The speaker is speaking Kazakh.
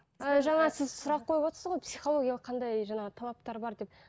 ііі жаңа сіз сұрақ қойывотсыз ғой психологиялық қандай жаңағы талаптар бар деп